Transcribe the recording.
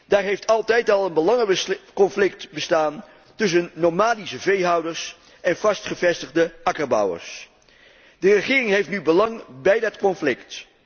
Daar heeft altijd al een belangenconflict bestaan tussen nomadische veehouders en vast gevestigde akkerbouwers. De regering heeft nu belang bij dat conflict.